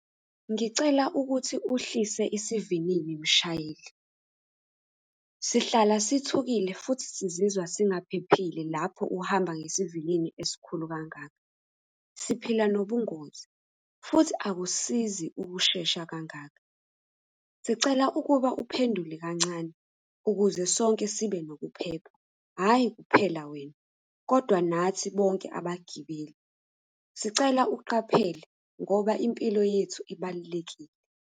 Ngicela ukuthi uhlise isivinini mshayeli. Sihlala sithukile, futhi sizizwa singaphephile lapho uhamba ngesivinini esikhulu kangaka. Siphila nobungozi, futhi akusizi ukushesha kangaka. Sicela ukuba uphendule kancane ukuze sonke sibe nokuphepha, hhayi kuphela wena kodwa nathi bonke abagibeli. Sicela uqaphele ngoba impilo yethu ibalulekile.